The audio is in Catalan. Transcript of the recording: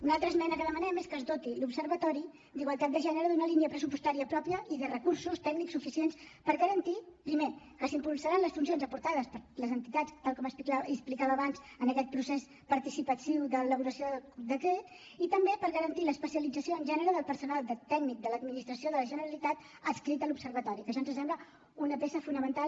una altra esmena que demanem és que es doti l’observatori d’igualtat de gènere d’una línia pressupostària pròpia i de recursos tècnics suficients per garantir primer que s’impulsaran les funcions aportades per les entitats tal com explicava abans amb aquest procés participatiu d’elaboració del decret i també per garantir l’especialització en gènere del personal tècnic de l’administració de la generalitat adscrit a l’observatori que ja ens sembla una peça fonamental